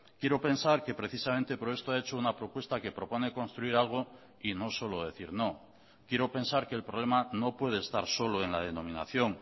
quiero pensar que precisamente por esto ha hecho una propuesta que propone construir algo y no solo decir no quiero pensar que el problema no puede estar solo en la denominación